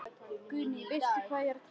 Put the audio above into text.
Guðný: Veistu hvað ég er að tala um?